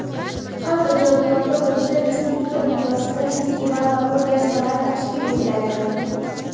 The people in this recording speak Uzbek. xalq ijodiyoti) bo‘yicha respublika miqyosida festival va ko‘rgazmalar tashkil etiladi;.